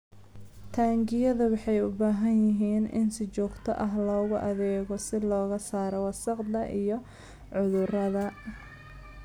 Taangiyada waxay u baahan yihiin in si joogto ah loogu adeego si looga saaro wasakhda iyo cudurrada.